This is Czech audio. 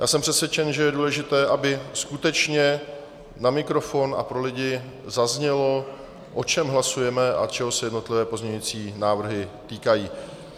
Já jsem přesvědčen, že je důležité, aby skutečně na mikrofon a pro lidi zaznělo, o čem hlasujeme a čeho se jednotlivé pozměňující návrhy týkají.